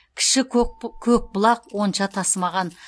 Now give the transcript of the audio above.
кіші көкбұлақ онша тасымаған